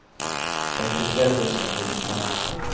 femtitre tusen og åttifem